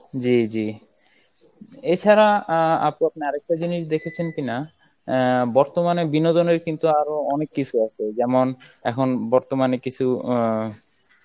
জী জী, এছাড়া আহ আপু আপনি আরেকটা জিনিস দেখেছেন কিনা আহ বর্তমানে বিনোদনের কিন্তু আরো অনেক কিছু আছে যেমন এখন বর্তমানে কিছু অ্যাঁ